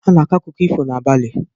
A na-akọkarị akụkọ ifo n'abalị.